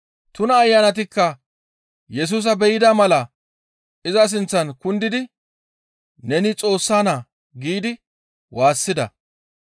Tuna ayanatikka Yesusa be7ida mala iza sinththan kundidi, «Neni Xoossa Naa» giidi waassida.